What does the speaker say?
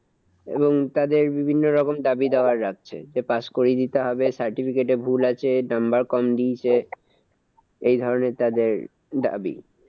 এবং তাদের বিভিন্ন রকম দাবিদাওয়া রাখছে। যে pass করিয়ে দিতে হবে, certificate এ ভুল আছে, number কম দিয়েছে, এই ধরণের তাদের দাবি।